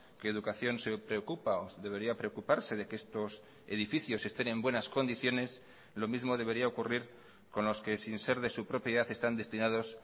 que educación se preocupa o debería preocuparse de que estos edificios estén en buenas condiciones lo mismo debería ocurrir con los que sin ser de su propiedad están destinados